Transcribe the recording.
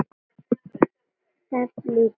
Teflt í tvísýnu